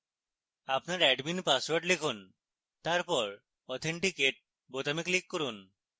আপনার admin password লিখুন তারপর authenticate বোতামে click করুন